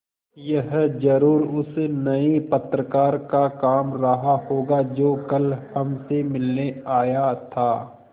यह ज़रूर उस नये पत्रकार का काम रहा होगा जो कल हमसे मिलने आया था